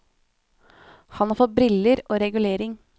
Han har fått briller og regulering.